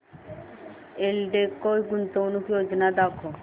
एल्डेको गुंतवणूक योजना दाखव